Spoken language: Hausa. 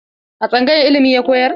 A tsangayar ilimi ya koyar?